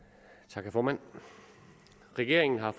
tak formand regeringen har